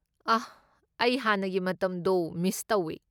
ꯑꯥꯍ, ꯑꯩ ꯍꯥꯟꯅꯒꯤ ꯃꯇꯝꯗꯣ ꯃꯤꯁ ꯇꯧꯋꯦ꯫